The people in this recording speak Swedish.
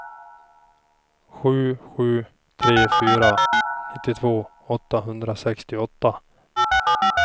sju sju tre fyra nittiotvå åttahundrasextioåtta